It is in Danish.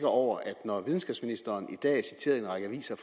over at når videnskabsministeren i dag i en række aviser